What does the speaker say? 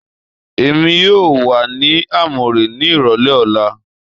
Èmi yóò wà ní Amure ní ìrọ̀lẹ́ ọ̀la